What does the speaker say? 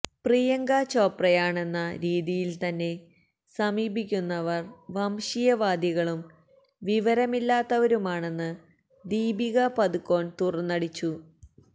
പ്രിയങ്ക ചോപ്രയാണെന്ന രീതിയില് തന്നെ സമീപിക്കുന്നവര് വംശീയവാദികളും വിവരമില്ലാത്തവരുമാണെന്ന് ദീപിക പാദുകോണ് തുറന്നടിച്ചു